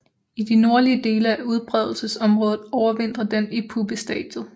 I de nordlige dele af udbredelsesområdet overvintrer den i puppestadiet